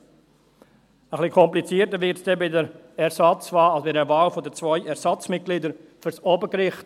Ein wenig komplizierter wird es bei der Wahl für zwei Ersatzmitglieder am Obergericht.